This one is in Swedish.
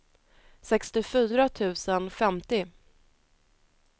sextiofyra tusen femtio